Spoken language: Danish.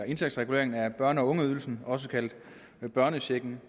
indtægtsreguleringen af børne og ungeydelsen også kaldet børnechecken